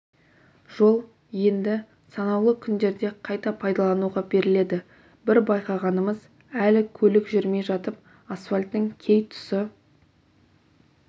жол енді санаулы күндерде қайта пайдалануға беріледі бір байқағанымыз әлі көлік жүрмей жатып асфальттың кей тұсы